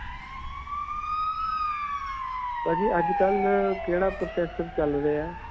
ਭਾਜੀ ਅੱਜਕਲ੍ਹ ਕਿਹੜਾ processor ਚਲ ਰਿਹਾ ਹੈ?